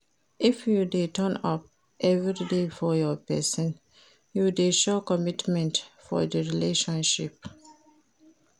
If you de turn up everyday for your persin you de show commitment for di relationship